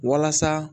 Walasa